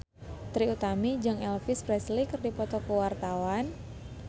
Trie Utami jeung Elvis Presley keur dipoto ku wartawan